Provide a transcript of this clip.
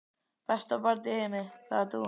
Besta barn í heimi, það ert þú.